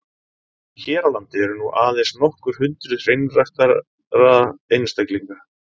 Hér á landi eru nú aðeins nokkur hundruð hreinræktaðra einstaklinga.